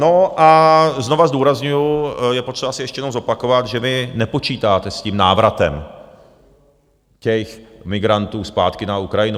No a znovu zdůrazňuji, je potřeba si ještě jednou zopakovat, že vy nepočítáte s tím návratem těch migrantů zpátky na Ukrajinu.